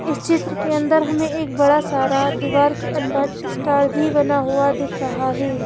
इस क्षेत्र के अंदर हमें एक बड़ा सारा दीवार के अंदर स्टार भी बना हुआ दिख रहा है।